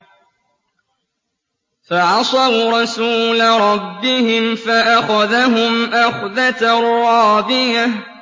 فَعَصَوْا رَسُولَ رَبِّهِمْ فَأَخَذَهُمْ أَخْذَةً رَّابِيَةً